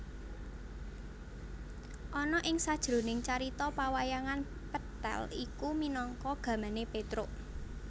Ana ing sajroning carita pawayangan pethèl iku minangka gamané Pétruk